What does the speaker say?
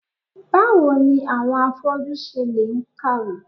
Báwo ni àwọn afọ́jú ṣe le ń kàwé?